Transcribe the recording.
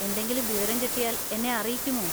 എന്തെങ്കിലും വിവരം കിട്ടിയാൽ എന്നെ അറിയിക്കുമോ?